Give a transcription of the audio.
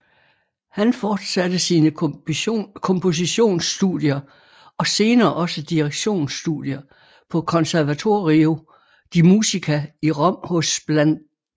Han forsatte sine kompositions studier og senere også direktions studier på Conservatorio di Musica i Rom hos bla